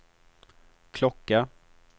klocka